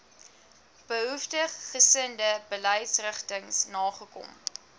behoeftiggesinde beleidsrigtings nagekom